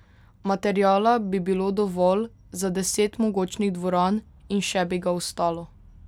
Materiala bi bilo dovolj za deset mogočnih dvoran in še bi ga ostalo.